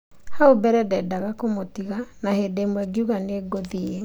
Hau mbere ,nĩndendaga kumũtiga ,na bĩndĩ imwe ngiuga niunguthii